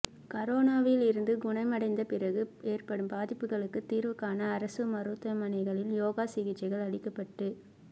கரோனாவிலிருந்து குணமடைந்த பிறகு ஏற்படும் பாதிப்புகளுக்குத் தீா்வு காண அரசு மருத்துவமனைகளில் யோகா சிகிச்சைகள் அளிக்கப்பட்டு